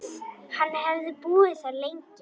Hann hefði búið þar lengi.